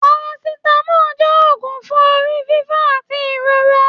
Parasitamọ jẹ òògùn fún orí fífọ àti ìrora.